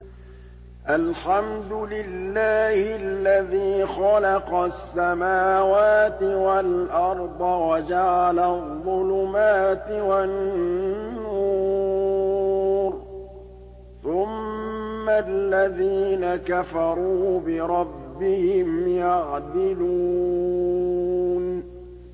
الْحَمْدُ لِلَّهِ الَّذِي خَلَقَ السَّمَاوَاتِ وَالْأَرْضَ وَجَعَلَ الظُّلُمَاتِ وَالنُّورَ ۖ ثُمَّ الَّذِينَ كَفَرُوا بِرَبِّهِمْ يَعْدِلُونَ